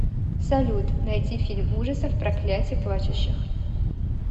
салют найти фильм ужасов проклятие плачущих